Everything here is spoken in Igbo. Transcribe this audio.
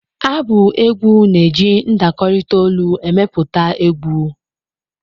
Abụ egwu na-eji ndakọrịta olu emepụta egwu.